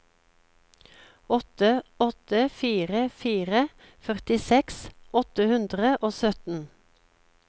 åtte åtte fire fire førtiseks åtte hundre og sytten